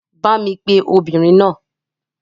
Bá mi pe obìnrin náà.